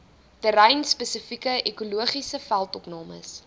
terreinspesifieke ekologiese veldopnames